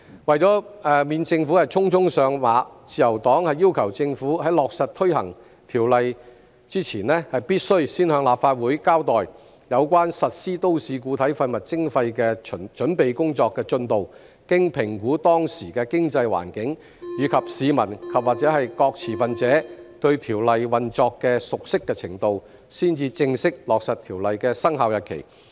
為免政府匆匆上馬，自由黨要求政府在落實推行《條例草案》前，必須先向立法會交代有關實施都市固體廢物徵費的準備工作進度，經評估當時的經濟環境，以及市民和各持份者對《條例草案》運作的熟悉程度，才正式落實《條例草案》的生效日期。